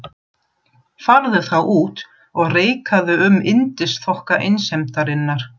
Farðu þá út og reikaðu um yndisþokka einsemdarinnar.